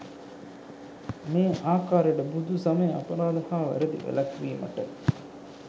මේ ආකාරයට බුදුසමය අපරාධ හා වැරැදි වැළැක්වීමට